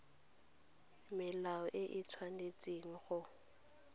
melao e e tshwanetseng go